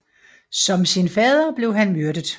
Som sin fader blev han myrdet